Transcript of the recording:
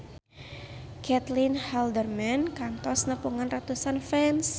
Caitlin Halderman kantos nepungan ratusan fans